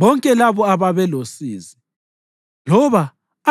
Bonke labo ababelosizi loba